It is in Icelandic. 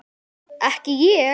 Ekki ég.